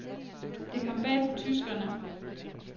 Det kom bag på tyskerne.